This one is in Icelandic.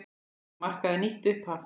Þetta markaði nýtt upphaf.